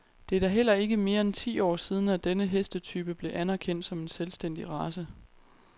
Det er da heller ikke mere end ti år siden, at denne hestetype blev anerkendt som en selvstændig race.